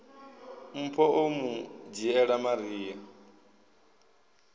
mpho o mu dzhiela maria